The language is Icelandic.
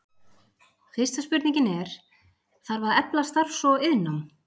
Fyrsta spurningin er, þarf að efla starfs- og iðnnám?